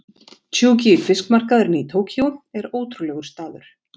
Tsukiji fiskmarkaðurinn í Tókýó er ótrúlegur staður.